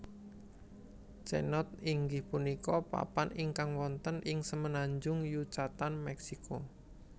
Cenote inggih punika papan ingkang wonten ing semenanjung Yucatan Mèksiko